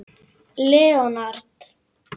Leonard